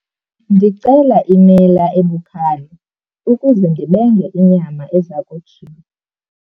Ndicela imela ebukhali ukuze ndibenge inyama eza kojiwa.